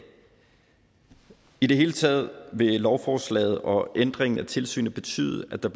i det hele taget vil lovforslaget og ændringen af tilsynet betyde at der